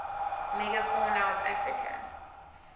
megafauna of africa